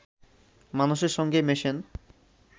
মানুষের সঙ্গে মেশেন